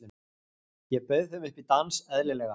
Ég bauð þeim upp í dans, eðlilega.